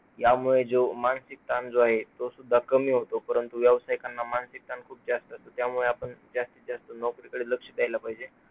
यामुळे जो मानसिक ताण जो आहे, तो सुद्धा कमी होतो, परंतु व्यावसायिकांना मानसिक ताण खूप जास्त असतो, त्यामुळे आपण जास्तीत जास्त नोकरीकडे लक्ष द्यायला पाहिजे.